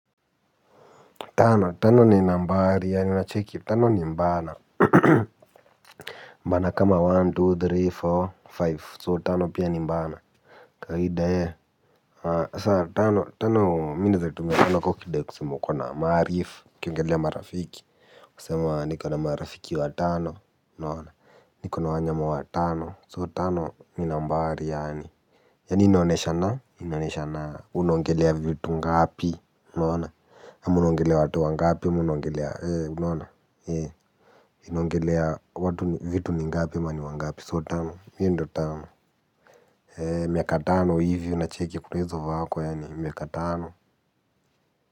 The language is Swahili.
Tano, tano ni nambari ya ninachecki, tano ni mbana. Mbana kama moja, mbili, tatu, nne, tano, so tano pia ni mbana. Kwa hii daya sasa tano, tano, mimi naeza tumia kaa ukidai kusema ukona marifu ukiongelea marafiki. Kusema niko na marafiki watano unaona, niko na wanyama watano, so tano ni nambari yaani yani inaonyeshana, inaonyeshana. Unaongelea vitu ngapi unaona ama unaongelea watu wangapi ama unaongelea ee unaona ee inaongelea watu vitu ningapi ama ni wangapi so tano hiyo ndio tano, eee miaka tano hivi unacheki. Kunaezo vako yaani miaka tano.